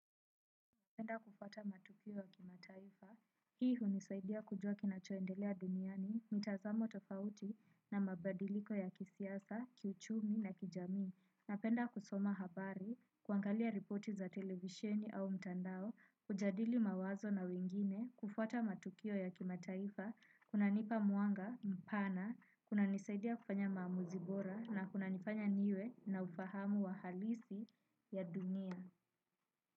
Penda kufuata matukio ya kimataifa, hii hunisaidia kujua kinachoendelea duniani, mtazamo tofauti na mabadiliko ya kisiasa, kiuchumi na kijami. Na penda kusoma habari, kuangalia ripoti za televisheni au mtandao, hujadili mawazo na wengine, kufuata matukio ya kimataifa, kuna nipa mwanga, mpana, kuna nisaidia kufanya maamuzibora, na kuna nifanya niwe na ufahamu wa halisi, ya dunia.